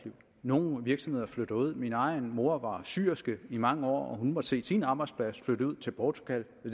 nogle virksomheder flytter ud min egen mor var syerske i mange år og hun måtte se sin arbejdsplads flytte ud til portugal